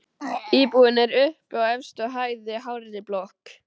Íbúðin er uppi á efstu hæð í hárri blokk.